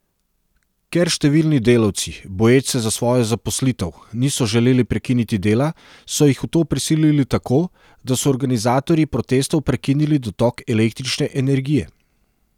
Ker številni delavci, boječ se za svojo zaposlitev, niso želeli prekiniti dela, so jih v to prisilili tako, da so organizatorji protestov prekinili dotok električne energije.